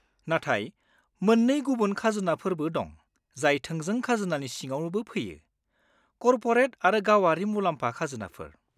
नाथाय मोननै गुबुन खाजोनाफोरबो दं जाय थोंजों खाजोनानि सिङावबो फैयो; कर्परेट आरो गावारि मुलाम्फा खाजोनाफोर।